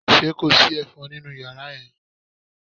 Ṣé kò sí ẹ̀fọn nínú yàrá yẹn?